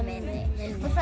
minni